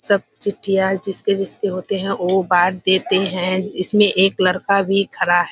सब चिट्ठी आई। जिसके-जिसके होते हैं वो बाँट देते हैं। इसमें एक लड़का भी खडा है।